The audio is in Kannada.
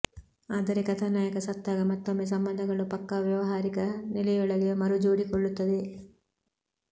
ಆದರೆ ಕಥಾನಾಯಕ ಸತ್ತಾಗ ಮತ್ತೊಮ್ಮೆ ಸಂಬಂಧಗಳು ಪಕ್ಕಾ ವ್ಯವಹಾರಿಕ ನೆಲೆಯೊಳಗೆ ಮರು ಜೋಡಿಕೊಳ್ಳುತ್ತವೆ